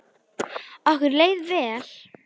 Okkur leið vel.